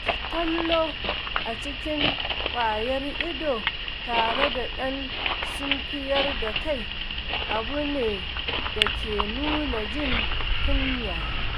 Kallo cikin ƙwayar ido tare da ɗan sunkuyar da kai abu ne da ke nuna jin kunya.